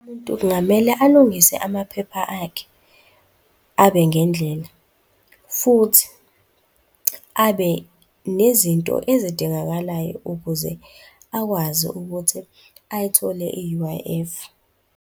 Umuntu kungamele alungise amaphepha akhe, abe ngendlela futhi abe nezinto ezidingakalayo ukuze akwazi ukuthi ayithole i-U_I_F.